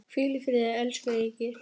Hvíl í friði, elsku Egill.